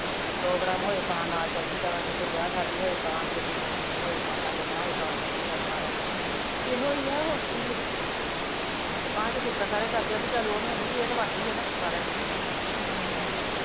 program ਹੋਏ ਤਾਂ ਨਾਲ਼ ਚਲਜੀ ਦਾ, ਜੇ ਕੋਈ ਵਿਆਹ ਸ਼ਾਦੀ ਹੋਏ ਤਾਂ, ਜੇ ਕੋਈ ਮਰਕਤ ਹੋਏ ਤਾਂ, ਜਮਣਾ ਹੋਏ ਤਾਂ ਚਲਜੀ ਦਾ ਸਾਰਿਆ ਕੋਲ ਤੇ ਤਾਂਹੀਂ ਤਾਂ ਸਿਫਤਾਂ ਸਾਰੇ ਕਰਦੇ ਆ ਵੀ ਚੱਲ ਓਹ ਨੀ ਆਉਂਦੀ ਏਹ ਤਾਂ ਵੜਦੀ ਐ ਨਾ ਸਾਰਿਆ ਕੋਲ